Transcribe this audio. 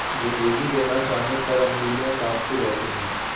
रोगी के न चाहने पर अंगुलियां कांपती रहती हैं